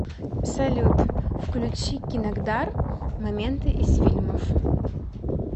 салют включи кинокдар моменты из фильмов